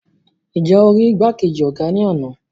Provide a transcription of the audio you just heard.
Nje o ri igbakeji ọgá ní ana?